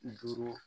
Duuru